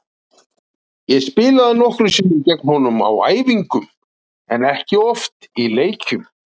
Ég hef spilað nokkrum sinnum gegn honum á æfingum en ekki oft í leikjum.